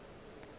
o be a ena le